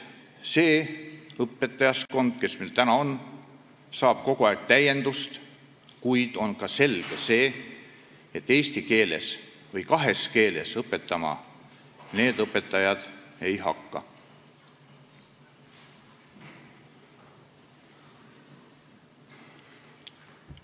See õpetajaskond, kes meil on, saab kogu aeg täiendust, kuid on selge, et eesti keeles või kahes keeles need õpetajad õpetama ei hakka.